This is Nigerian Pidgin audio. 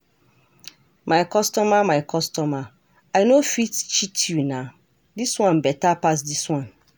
my customer my customer, I no fit cheat you nah, this one better pass this one.